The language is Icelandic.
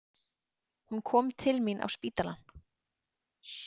Hún kom til mín á spítalann.